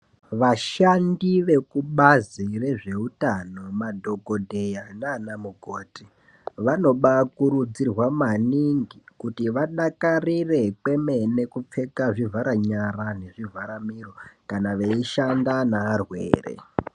Vashandi vekubazi rezvehutano madhokodheya nana mukoti vanobakurudzirwa maningi kuti vadakarire kwemene kupfeka zvivhara nyara nezvivhara miro kana veishanda nevarwere.